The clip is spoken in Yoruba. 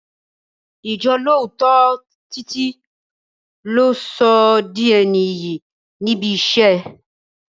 Ijolooto Títí lo sọ di ẹni iyì níbi iṣẹ́.